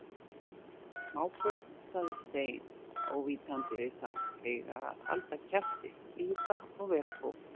Smábörn sagði Stein ávítandi við þá, eiga að halda kjafti, hlýða og vera góð